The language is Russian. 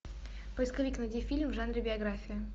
поисковик найди фильм в жанре биография